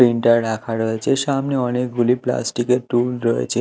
Printer রাখা রয়েছে সামনে অনেকগুলি প্লাস্টিক -এর টুল রয়েছে।